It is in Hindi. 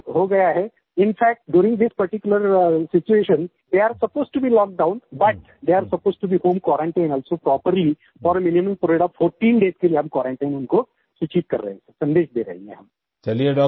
अभी तो लॉकडाउन हो गया है in fact during this particular situation they are supposed to be lockdown but they are supposed to be home quarantine also properly for minimum 14 days के लिए क्वारंटाइन हम उनको सूचित कर रहे हैं सन्देश दे रहे हैं सर